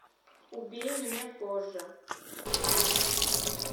убей меня позже